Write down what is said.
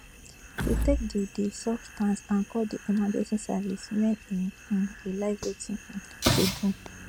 she take di di substance and call di emergency services wen e um realise wetin um she do